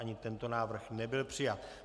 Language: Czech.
Ani tento návrh nebyl přijat.